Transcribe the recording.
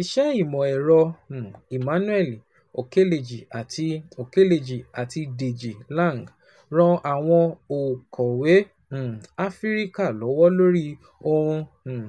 Iṣẹ́ ìmọ̀ ẹ̀rọ um Emmanuel Okeleji àti Okeleji àti Deji Lang ran àwọn okoòwò um Áfríkà lọ́wọ́ lórí ohun um